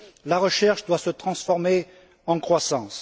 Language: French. La recherche doit se transformer en croissance.